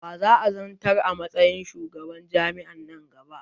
Wa za'a zantar a matsayin shugaban jam'i'an nan gaba?